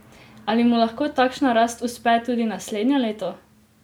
Ali mu lahko takšna rast uspe tudi naslednje leto?